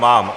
Mám.